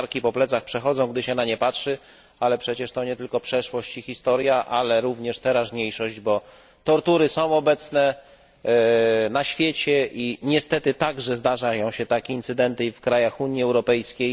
Ciarki po plecach przechodzą, gdy się na nie patrzy, ale to przecież nie tylko przeszłość i historia, ale również teraźniejszość, bo tortury są obecne na świecie i niestety także zdarzają się takie incydenty w krajach Unii Europejskiej.